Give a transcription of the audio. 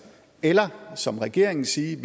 eller som regeringen sige at